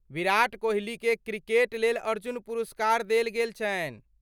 विराट कोहलीकेँ क्रिकेट लेल अर्जुन पुरस्कार देल गेल छनि।